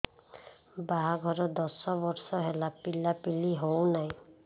ବାହାଘର ଦଶ ବର୍ଷ ହେଲା ପିଲାପିଲି ହଉନାହି